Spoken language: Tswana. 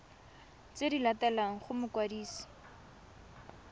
tse di latelang go mokwadisi